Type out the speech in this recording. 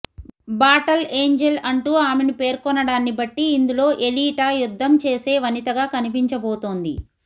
bottle angel అంటూ ఆమెను పేర్కొనడాన్ని బట్టి ఇందులో ఎలీటా యుద్ధం చేసే వనితగా కనిపిచబోతోంది